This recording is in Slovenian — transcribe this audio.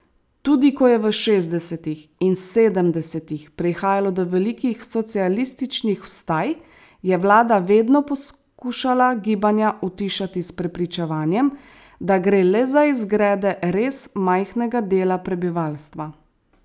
Tudi ko je v šestdesetih in sedemdesetih prihajalo do velikih socialističnih vstaj, je vlada vedno poskušala gibanja utišati s prepričevanjem, da gre le za izgrede res majhnega dela prebivalstva.